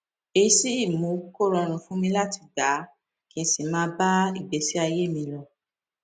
èyí sì mú kó rọrùn fún mi láti gbà á kí n sì máa bá ìgbésí ayé mi lọ